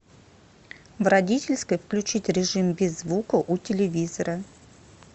в родительской включить режим без звука у телевизора